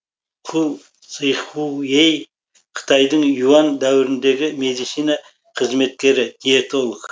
ху сыхуэй қытайдың юань дәуіріндегі медицина қызметкері диетолог